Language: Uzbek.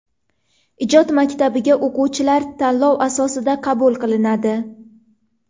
Ijod maktabiga o‘quvchilar tanlov asosida qabul qilinadi.